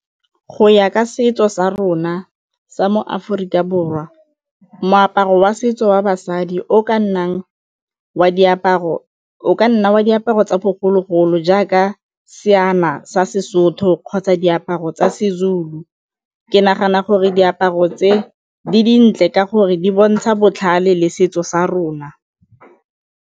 Go ya ka setso sa rona sa mo Aforika Borwa moaparo wa setso wa basadi o ka nna wa diaparo tsa bogologolo jaaka ka seqna sa Sesotho kgotsa diaparo tsa Sezulu. Ke nagana gore diaparo tse di dintle ka gore di bontsha botlhale le setso sa rona.